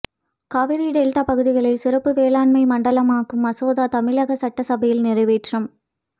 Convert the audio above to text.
Kaveri delta பகுதிகளை சிறப்பு வேளாண் மண்டலமாக்கும் மசோதா தமிழக சட்டசபையில் நிறைவேற்றம்